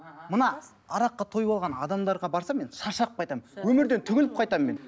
мына араққа тойып алған адамдарға барсам мен шаршап қайтамын өмірден түңіліп қайтамын мен